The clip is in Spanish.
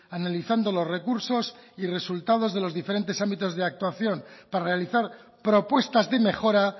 analizando los recursos y resultado de los diferentes ámbitos de actuación para realizar propuestas de mejora